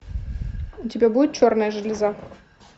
у тебя будет черная железа